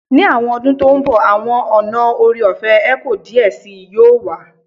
Ni awọn ọdun to nbo awọn ọna ore-ọfẹ eco diẹ sii yoo wa